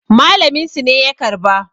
malaminsu ne ya karba